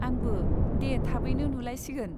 आंबो, दे थाबैनो नुलायसिगोन!